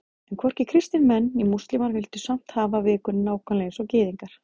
En hvorki kristnir menn né múslímar vildu samt hafa vikuna nákvæmlega eins og Gyðingar.